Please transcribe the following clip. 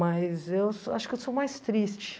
Mas eu sou acho que eu sou mais triste.